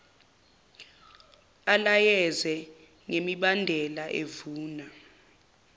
alayeze ngemibandela evuna